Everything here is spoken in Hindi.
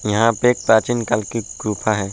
यहाँ पे एक प्राचीन काल की गुफा है।